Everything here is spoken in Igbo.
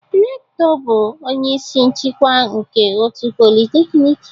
Rector bụ onye isi nchịkwa nke otu polytechnic